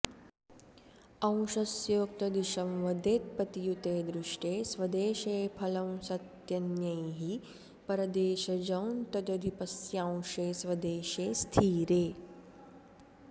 अंशस्योक्तदिशं वदेत्पतियुते दृष्टे स्वदेशे फलं सत्यन्यैः परदेशजं तदधिपस्यांशे स्वदेशे स्थिरे